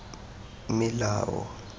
melao